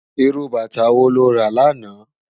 Irú bàtá wó ló rá làná?